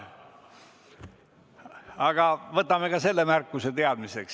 Aga võtame ka selle märkuse teadmiseks.